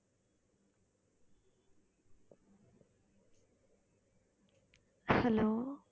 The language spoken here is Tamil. hello